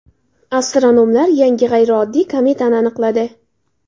Astronomlar yangi g‘ayrioddiy kometani aniqladi.